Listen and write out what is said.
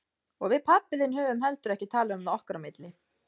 Og við pabbi þinn höfum heldur ekki talað um það okkar á milli.